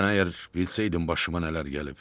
Sən əgər bilsəydin başıma nələr gəlib.